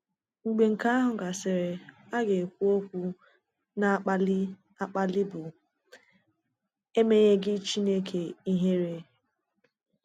Mgbe nke àhụ gasịrị a ga-ekwu okwu na-akpali akpali bụ “Emenyeghị Chineke Ihère.